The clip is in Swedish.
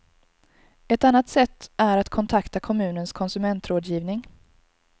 Ett annat sätt är att kontakta kommunens konsumentrådgivning.